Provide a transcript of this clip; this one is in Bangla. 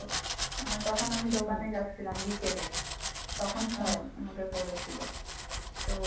হ্যাঁ তখন আমি দোকানে যাচ্ছিলাম বিকালে তখন phone আমাকে করেছিল তো